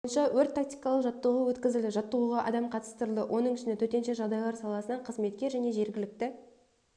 бойынша өрт-тактикалық жаттығу өткізілді жаттығуға адам қатыстырылды оның ішінде төтенше жағдайлар саласынан қызметкер және жергілікті